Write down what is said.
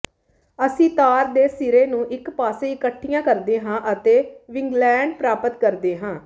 ਅਸੀਂ ਤਾਰ ਦੇ ਸਿਰੇ ਨੂੰ ਇਕ ਪਾਸੇ ਇਕੱਠੀਆਂ ਕਰਦੇ ਹਾਂ ਅਤੇ ਵਿੰਗਲੈਟ ਪ੍ਰਾਪਤ ਕਰਦੇ ਹਾਂ